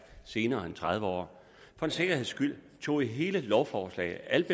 senere end efter tredive år for en sikkerheds skyld tog jeg hele lovforslaget